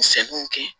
Sɛŋɛnw kɛ